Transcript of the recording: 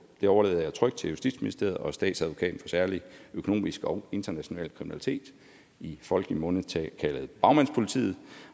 det overlader jeg trygt til justitsministeriet og statsadvokaten for særlig økonomisk og international kriminalitet i folkemunde kaldet bagmandspolitiet